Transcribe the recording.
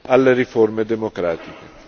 alle riforme democratiche.